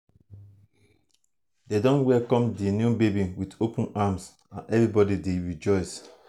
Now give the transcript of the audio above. dem don welcome di new baby with open arms and everybody dey rejoice.